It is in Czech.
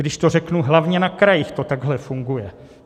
Když to řeknu, hlavně na krajích to takhle funguje.